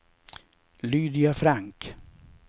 Lydia Frank